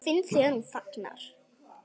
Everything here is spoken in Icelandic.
Ég finn þegar hún þagnar.